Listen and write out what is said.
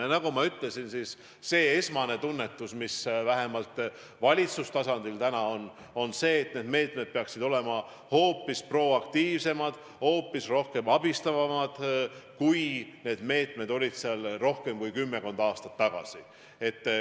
Ja nagu ma ütlesin, esmane tunnetus vähemalt valitsustasandil on see, et need meetmed peaksid olema hoopis proaktiivsemad, hoopis rohkem abistavad, kui need olid rohkem kui kümmekond aastat tagasi.